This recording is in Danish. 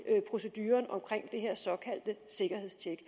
proceduren omkring det her såkaldte sikkerhedstjek